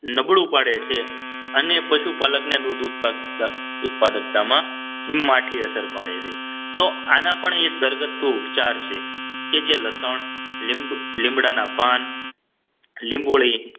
નબળું પાડે છે અને પશુપાલકને દૂધ ઉત્પાદક ઉત્પાદકતામાં માઢી અસર પડે છે તો આના પણ એક ઘરગથ્થુ ઉપચાર છે કે જે લસણ લીંબ લીમડાના પાન લીંબોળી